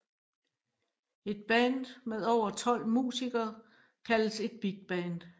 Et band med over tolv musikere kaldes et bigband